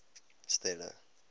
stella